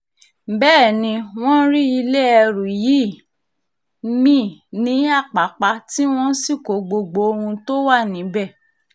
bẹ́ẹ̀ ni wọ́n rí ilé ẹrú yìí mí-ín ní àpàpà tí wọ́n sì kó gbogbo ohun tó wà níbẹ̀